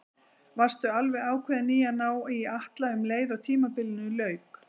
Varstu alveg ákveðinn í að ná í Atla um leið og tímabilinu lauk?